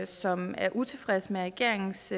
som er utilfreds med regeringens